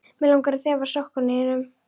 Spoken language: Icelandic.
Mig langar að þefa af sokkum þínum.